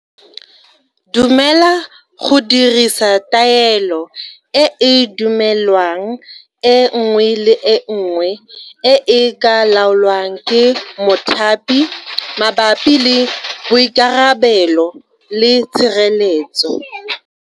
Dumela go dirisa taelo e e dumelwang e nngwe le e nngwe e e ka laolwang ke mothapi mabapi le boikarabelo le tshireletso.